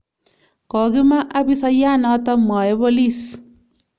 Kogima abisayanoto, mwae bolis